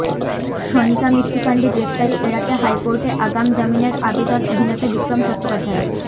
সনিকা মৃত্যুকাণ্ডে গ্রেফতারি এড়াতে হাইকোর্টে আগাম জামিনের আবেদন অভিনেতা বিক্রম চট্টোপাধ্যায়ের